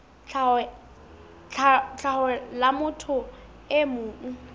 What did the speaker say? tlhaho la motho e mong